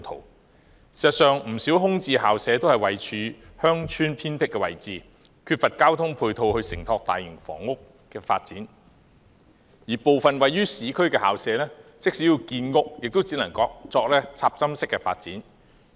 事實上，不少空置校舍位處鄉村偏僻位置，缺乏交通配套承托大型房屋發展，而部分位於市區的校舍，即使要建屋，也只能作插針式發展。